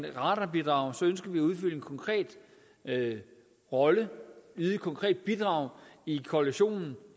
et radarbidrag ønsker vi at udfylde en konkret rolle og yde et konkret bidrag i koalitionen